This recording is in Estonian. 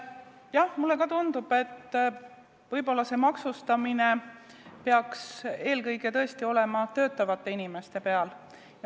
Jah, mulle tundub ka, et maksustamine peaks eelkõige tõesti olema töötavate inimeste peal.